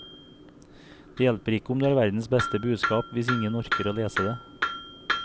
Det hjelper ikke om du har verdens beste budskap hvis ingen orker å lese det.